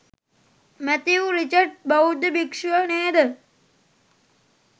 Matthew Richard බෞද්ධ භික්‍ෂුව නේද?